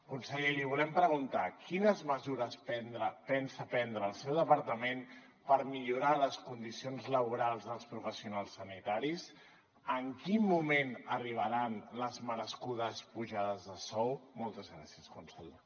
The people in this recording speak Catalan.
conseller li volem preguntar quines mesures pensa prendre el seu departament per millorar les condicions laborals dels professionals sanitaris en quin moment arribaran les merescudes pujades de sou moltes gràcies conseller